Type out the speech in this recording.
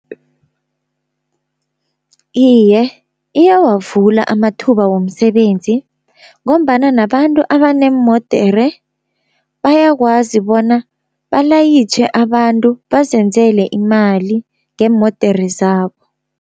Iye, iyawavula amathuba womsebenzi, ngombana nabantu abaneemodere bayakwazi bona balayitjhe abantu bazenzele imali ngeemodere zabo.